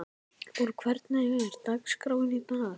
Borg, hvernig er dagskráin í dag?